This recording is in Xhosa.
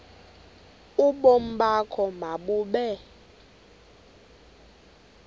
ubomi bakho mabube